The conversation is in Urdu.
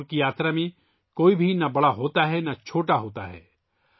پنڈھرپور کی یاترا میں نہ کوئی بڑا ہوتا ہے نہ چھوٹا ہوتا ہے